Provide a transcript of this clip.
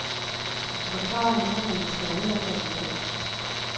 Forklaringen kommer måske aldrig for en dag.